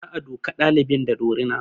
Za a duka ɗalibin da dorina